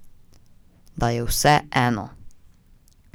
Da je vse eno.